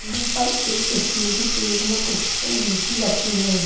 यहां पर एक स्टील की प्लेट में कुछ लीची रखी हैं।